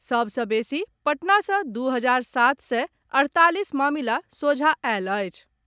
सभ सँ बेसी पटना सँ दू हजार सात सय अड़तालीस मामिला सोझा आयल अछि।